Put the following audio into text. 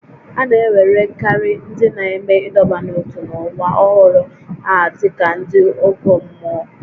A na-ewerekarị ndị na-eme ịdọba n'ótú n'ụwa ọhụrụ a dị ka ndị ọgọ mmụọ